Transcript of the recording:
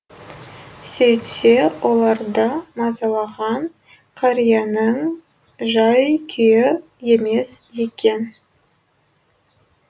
сөйтсе оларды мазалаған қарияның жай күйі емес екен